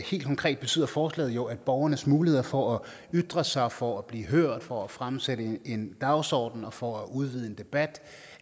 helt konkret betyder forslaget jo at borgernes muligheder for at ytre sig for at blive hørt for at fremsætte en dagsorden og for at udvide en debat